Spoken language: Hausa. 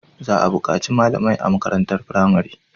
Za a bukaci malamai a makarantar firamare